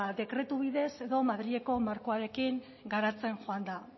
dekretu bidez edo madrileko markoaren garatzen joan da